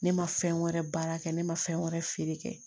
Ne ma fɛn wɛrɛ baara kɛ ne ma fɛn wɛrɛ feere